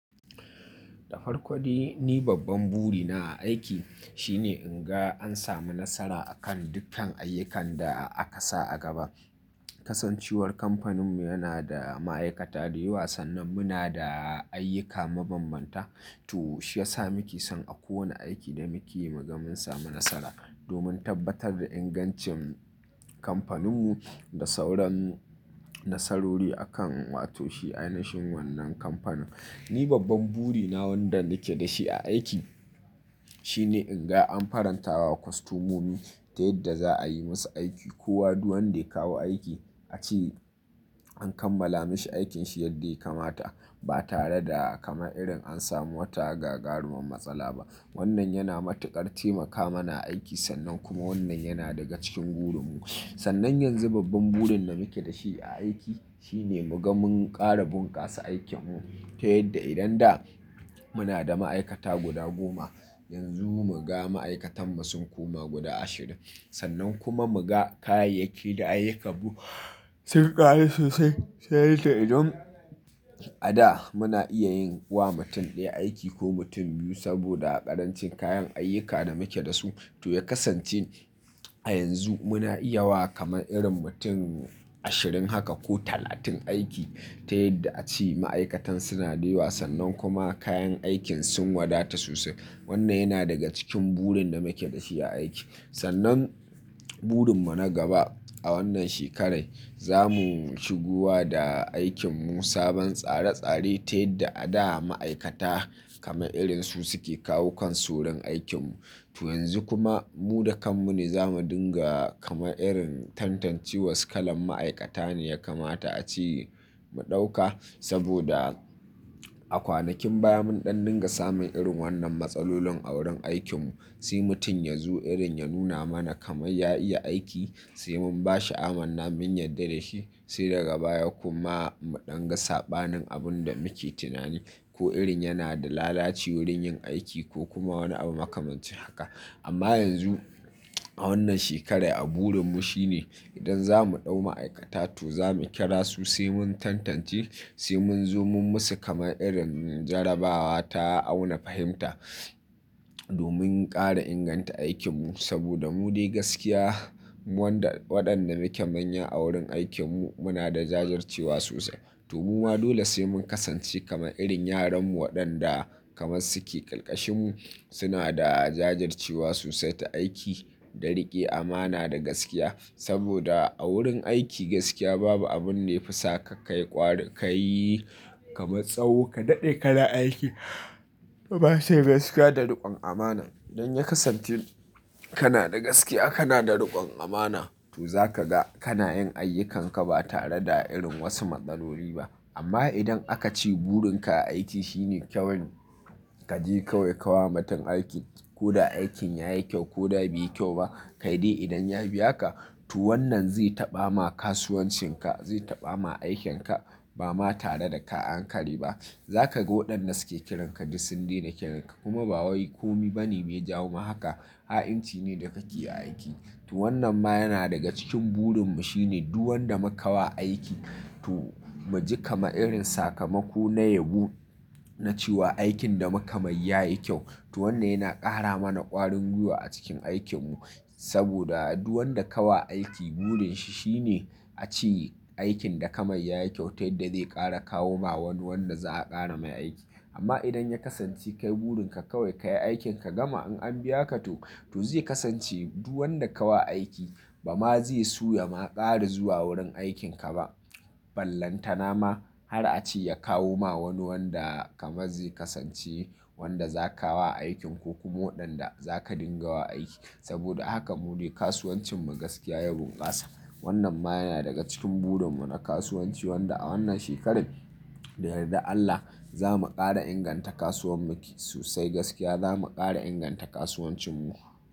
Da farko dai ni babban buri na a aiki shine in ga an samu nasara akan dukkan ayyukan da aka sa a gaba. Kasancewar kamfaninmu yana da ma'aikata da yawa sannan muna da ayyuka mabanbanta to shi ya sa muke son a kowane aiki da muke yi mu ga mun samu nasara domin tabbatar da ingancin kamfaninmu da sauran nasarori akan wato shi ainashin wannan kamfanin. Ni babban buri na wanda nake da shi a aiki shine in ga an farantawa kostomomi ta yadda za a yi musu aiki kowa duk wanda ya kawo aiki a ce an kammala mishi aikin shi yadda ya kamata ba tare da kamar irin an samu wata gagaruman matsala ba wannan yana matuƙar taimaka mana a aiki sannan kuma wannan yana daga cikin burinmu sannan yanzu babban burin da muke da shi a aiki shine muga mun ƙara bunƙasa aikin mu ta yadda idan da muna da ma'aikata guda goma yanzu muga ma aikatanmu sun koma guda ashirin sannan kuma muga kayayyaki da ayyukan mu sun ƙaru sosai ta yanda idan a da muna iya yin wa mutum ɗaya aiki ko mutum biyu saboda ƙarancin kayan ayyuka da muke da su to ya kasance a yanzu muna iya wa kamar irin mutum ashirin haka ko talatin aiki ta yadda a ce ma aikatan suna da yawa sannan kuma kayan aikin sun wadata sosai. Wannan yana daga cikin burin da muke da shi a aiki. Sannan burin mu na gaba a wannan shekararai za mu shigo wa da aikinmu sabon tsare tsare ta yadda a da ma aikata kaman irin su suke kawo kan su wurin aikinmu to yanzu kuma mu da kanmu ne za mu dinga kamar irin tantance wa su kalan ma'aikata ne ya kamata a ce mu ɗauka saboda a kwanakin baya mun ɗan dinga samun irin wannan matsalolin a wurin aikinmu sai mutum ya zo irin ya nuna mana kamar ya iya aiki sai mun ba shi amanna mun yadda da shi sai daga baya kuma mu ɗan ga sabanin abun da muke tunani ko irin yana da lalaci wurin yin aiki ko kuma wani abu makamancin haka amma yanzu a wannan shekarai a burinmu shine idan za mu ɗau ma'aikata to za mu kira su sai mun tantance sai mun zo mun musu kamar irin jarrabawa ta auna fahimta domin ƙara inganta aikinmu saboda mu dai gaskiya mu wanda waɗanda muke manya a wurin aikinmu muna da jajircewa sosai to mu ma dole sai mun kasance kamar irin yaranmu waɗanda kamar su ke ƙarƙashinmu suna da jajircewa sosai ta aiki da riƙe amana da gaskiya saboda a wurin aiki gaskiya ba bu abunda yafi saka kayi ƙwarin kayi kamar tsawo ka daɗe kana aikin to ba su da gaskiya da riƙon amana idan ya kasance kana da gaskiya kana da riƙon amana to za ka ga kana yin ayyukanka ba tare da irin wasu matsaloli ba amma idan aka ce burinka a aiki shine kyawan ka je kawai ka wa mutum aiki ko da aikin ya yi kyau ko da bai yi kyau ba kai dai idan ya biya ka to wannan zai taɓa ma kasuwancinka zai taɓa ma aikinka ba ma tare da ka ankare ba za ka ga waɗanda suke kiranka duk sun daina kiranka kuma ba wai komi bane mai ya jawo ma haka ha'inci ne da ka keyi a aiki to wannan ma yana daga cikin burinmu shine duk wanda muka wa aiki to mu ji kamar irin sakamako na yabo na cewa aikin da muka mai ya yi kyau to wannan yana ƙara mana ƙwarin gwiwa a cikin aikinmu saboda duk wanda ka wa aiki burinshi shine a ce aikin da ka mai ya yi kyau ta yadda zai ƙara kawo ma wani wanda za a ƙara mai aiki amma idan ya kasance kai burinka kawai ka yi aikin ka gama in an biya ka to to zai kasance duk wanda ka wa aiki ba ma zai so ya ma ƙara zuwa wurin aikinka ba ballantana ma har a ce ya kawo ma wani wanda kamar zai kasance wanda za ka wa aikin ko kuma waɗanda za ka dinga wa aiki saboda haka mu dai kasuwancinmu gaskiya ya bunƙasa. Wannan ma yana daga cikin burinmu na kasuwanci wanda a wannan shekararai da yardar Allah za mu ƙara inganta kasuwan muk sosai gaskiya za mu ƙara inganta kasuwancinmu.